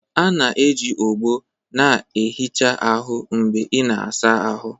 A na-eji ogbo na-ehicha ahụ mgbe ị na-asa ahụ